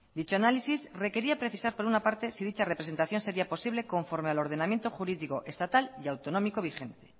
dicho análisis requería precisas por una parte si dicha representación sería posible conforme al ordenamiento jurídico estatal y autonómico vigente